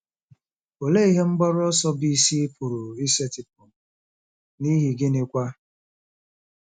Olee ihe mgbaru ọsọ bụ́ isi ị pụrụ isetịpụ, n'ihi gịnịkwa?